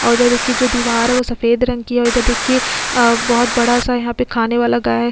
और इधर कि जो दीवार है वो सफेद रंग की है तो देखिये बहुत बड़ा सा यहां पे खाने वाला गाय है।